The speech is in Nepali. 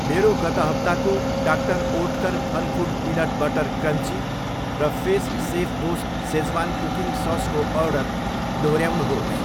मेरो गत हप्ताको doctor Oetker Funfoods peanut butter crunchy र फेस सेफबोस सेज्वान कुकिङ ससको अर्डर दोहोऱ्याउनुहोस्।